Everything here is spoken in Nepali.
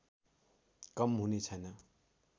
कम हुने छैन